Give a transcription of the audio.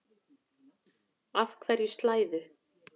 Af hverju slæðu?